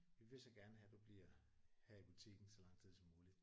Vi vil så gerne have du bliver her i butikken så lang tid som muligt